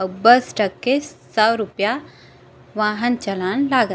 अब bus truck के सौ रुपया वाहन चलन लागत --